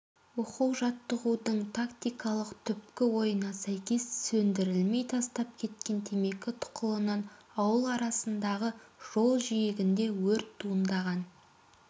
оқу-жаттығудың тактикалық түпкі ойына сәйкес сөндірілмей тастап кеткен темекі тұқылынан ауыл арасындағы жол жиегінде өрт туындаған